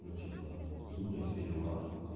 ну типо химия все дела